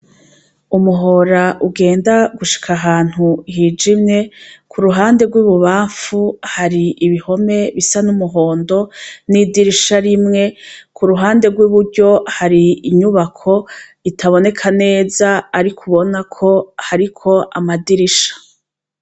Umuhora ugenda gushika ahantu hijaimwe ku ruhande rw'ibubamfu hari ibihome bisa n'umuhondo n'idirisha rimwe ku ruhande rw'iburyo hari inyubako itaboneka neza ari kubonako hariko amadirisha.